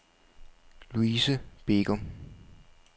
Luise Begum